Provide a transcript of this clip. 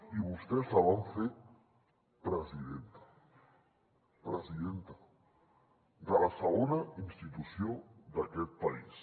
i vostès la van fer presidenta presidenta de la segona institució d’aquest país